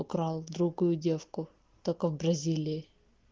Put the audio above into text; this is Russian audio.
украл другую девку только в бразилии